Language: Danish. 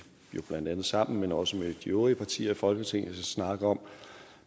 jo blandt andet sammen men også med de øvrige partier i folketinget skal snakke om